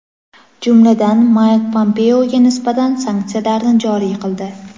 jumladan Mayk Pompeoga nisbatan sanksiyalarni joriy qildi.